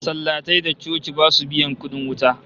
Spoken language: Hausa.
Masallatai da coci basu biyan kudin wuta